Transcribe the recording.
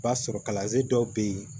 I b'a sɔrɔ kalansen dɔw bɛ yen